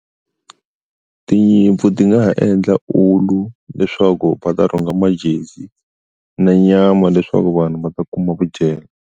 Tinyimpfu ti nga ha endla ulu leswaku va ta rhunga majezi na nyama leswaku vanhu va ta kuma vudyelo.